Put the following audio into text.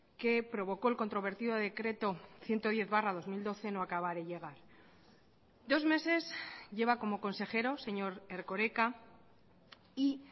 que provocó el controvertido decreto ciento diez barra dos mil doce no acaba de llegar dos meses lleva como consejero señor erkoreka y